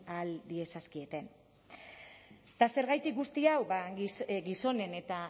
diezazkieten eta zergatik guzti hau gizonen eta